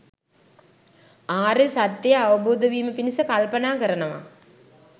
ආර්ය සත්‍යය අවබෝධ වීම පිණිස කල්පනා කරනවා.